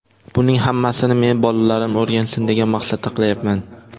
Buning hammasini men bolalarim o‘rgansin, degan maqsadda qilayapman.